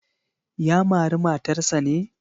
Ya mari matarsa ne?